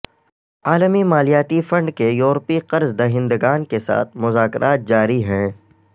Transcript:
عالمی مالیاتی فنڈ کے یورپی قرض دہندگان کیساتھ مذاکرات جاری ہیں